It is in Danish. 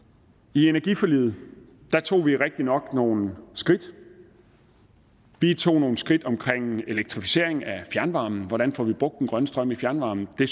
i energiforliget tog vi rigtigt nok nogle skridt vi tog nogle skridt omkring en elektrificering af fjernvarmen hvordan får vi brugt den grønne strøm i fjernvarmen det